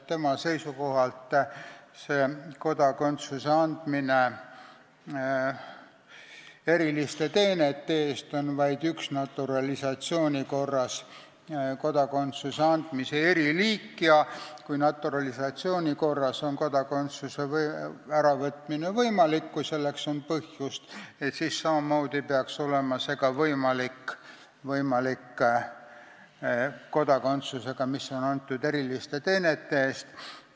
Tema seisukohalt on kodakondsuse andmine eriliste teenete eest üks naturalisatsiooni korras kodakondsuse andmise eriliik ja kui naturalisatsiooni korras saadud kodakondsuse äravõtmine on võimalik, kui selleks on põhjust, siis samamoodi peaks olema võimalik ära võtta ka kodakondsust, mis on antud eriliste teenete eest.